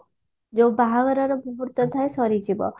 ଯଉ ବାହାଘରର ମୁହୂର୍ତ ଥାଏ ସରିଯିବ